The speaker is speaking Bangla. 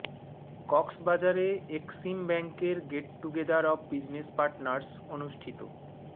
কক্সবাজারে এক্সিম ব্যাংকের get together of business partners অনুষ্ঠিত